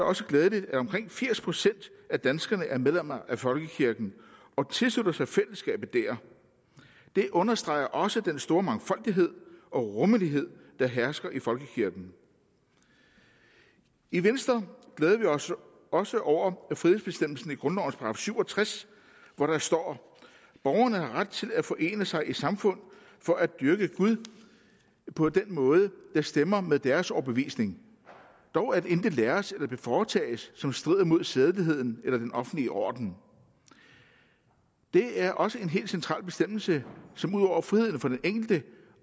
også glædeligt at omkring firs procent af danskerne er medlemmer af folkekirken og tilslutter sig fællesskabet der det understreger også den store mangfoldighed og rummelighed der hersker i folkekirken i venstre glæder vi os også over frihedsbestemmelsen i grundlovens § syv og tres hvor der står borgerne har ret til at forene sig i samfund for at dyrke gud på den måde der stemmer med deres overbevisning dog at intet læres eller foretages som strider mod sædeligheden eller den offentlige orden det er også en helt central bestemmelse som ud over friheden for den enkelte